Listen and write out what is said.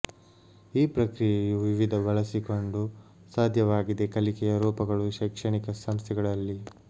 ಈ ಪ್ರಕ್ರಿಯೆಯು ವಿವಿಧ ಬಳಸಿಕೊಂಡು ಸಾಧ್ಯವಾಗಿದೆ ಕಲಿಕೆಯ ರೂಪಗಳು ಶೈಕ್ಷಣಿಕ ಸಂಸ್ಥೆಗಳಲ್ಲಿ